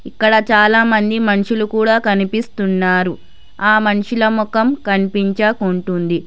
ఇక్కడ చాలామంది మనుషులు కూడా కనిపిస్తున్నారు ఆ మనుషుల మొఖం కన్పించకుంటుంది.